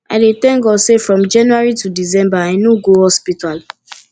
i dey tank god sey from january to december i no go hospital